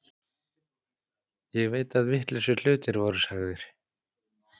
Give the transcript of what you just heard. Ég veit að vitlausir hlutir voru sagðir.